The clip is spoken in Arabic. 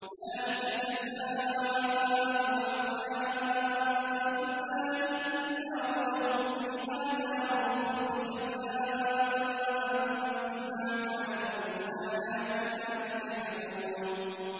ذَٰلِكَ جَزَاءُ أَعْدَاءِ اللَّهِ النَّارُ ۖ لَهُمْ فِيهَا دَارُ الْخُلْدِ ۖ جَزَاءً بِمَا كَانُوا بِآيَاتِنَا يَجْحَدُونَ